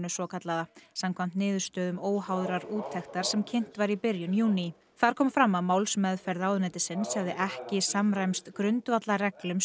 svokallaða samkvæmt niðurstöðum óháðrar úttektar sem kynnt var í byrjun júní þar kom fram að málsmeðferð ráðuneytisins hefði ekki samræmst grundvallarreglum